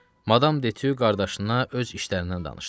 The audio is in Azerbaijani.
Madam Detyu qardaşına öz işlərindən danışdı.